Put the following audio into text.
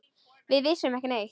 Við vissum ekki neitt.